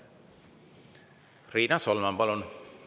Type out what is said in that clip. Riina Solman, palun!